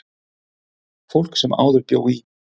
Fólk sem áður bjó í